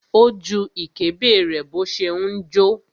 Ó ju ìkébè rẹ̀ bó ṣe ń jó.